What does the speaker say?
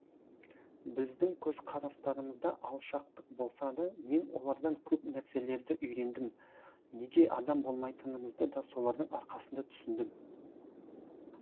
біздің көзқарастарымызда алшақтық болса да мен олардан көп нәрселерді үйрендім неге адам болмайтынымызды да солардың арқасында түсіндім